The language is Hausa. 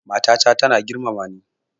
Mata ta tana girmama ni